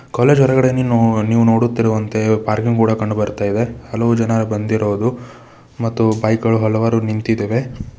College ಹೊರಗಡೆ ನೀನು ನೀವು ನೋಡುತ್ತಿರುವಂತೆ ಪಾರ್ಕಿಂಗ್ ಬೋರ್ಡ ಕಂಡು ಬರ್ತಾ ಇದೆ ಹಲವು ಜನಾ ಬಂದಿರೋದು ಮತ್ತು ಬೈಕ್ ಗಳು ಹಲವಾರು ನಿಂತಿದ್ದೇವೆ.